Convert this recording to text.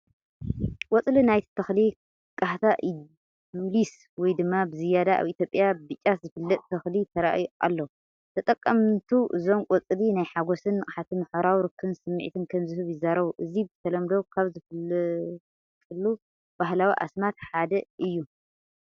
ቆጽሊ ናይቲ ተኽሊ፡ Khata edulis ወይ ድማ ብዝያዳ ኣብ ኢትዮጵያ ብ'ጫት' ዝፍለጥ ተኽሊ ተራእዩ ኣሎ። ተጠቀምቱ እዞም ቆጽሊ ናይ ሓጎስን ንቕሓትን ማሕበራዊ ርክብን ስምዒት ከም ዝህቡ ይዛረቡ። እዚ ብተለምዶ ካብ ዝፍለጠሉ ባህላዊ ኣስማት ሓደ እንታይ እዩ?